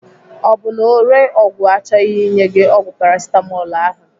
Ọ bụ na ore ọgwụ achọghị inye gị ọgwụ Paracetamol ahụ?